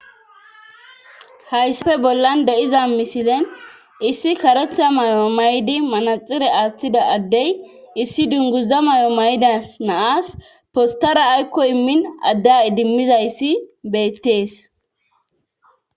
hayssafe bollan de7iza misilen issi karetha mayo maydi manaxire aaththida addey issi dunguza may7o maydas naas postara aykko immin adda idimmizayssi beyttees